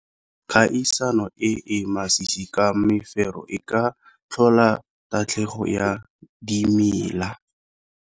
Kgaisano e e masisi ka mefero e ka tlhola tatlhegelo ya dimela.